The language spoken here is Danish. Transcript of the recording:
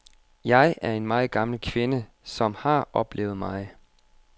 Jeg er en meget gammel kvinde, som har oplevet meget.